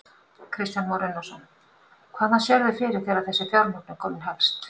Kristján Már Unnarsson: Hvaðan sérðu fyrir þér að þessi fjármögnun komi helst?